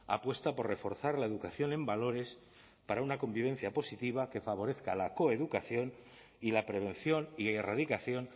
apuesta por reforzar la educación en valores para una convivencia positiva que favorezca la coeducación y la prevención y erradicación